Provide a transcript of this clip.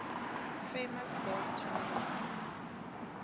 famous golf tournament